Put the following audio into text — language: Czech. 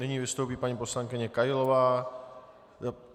Nyní vystoupí paní poslankyně Kailová.